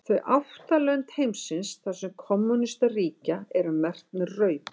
Þau átta lönd heimsins þar sem kommúnistar ríkja eru merkt með rauðu.